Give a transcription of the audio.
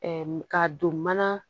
ka don mana